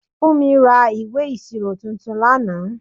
Funmi ra ìwé ìṣirò tuntun lánàá.